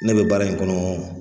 Ne bɛ baara in kɔnɔ